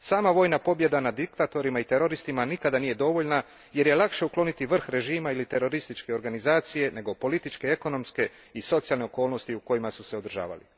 Sama vojna pobjeda nad diktatorima i teroristima nikada nije dovoljna, jer je lakše ukloniti vrh režima ili terorističke organizacije, nego političke, ekonomske i socijalne okolnosti u kojima su se održavali.